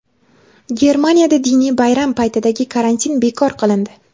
Germaniyada diniy bayram paytidagi karantin bekor qilindi.